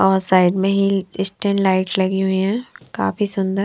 और साइड में ही स्टैंड लाइट लगी हुई है काफी सुंदर--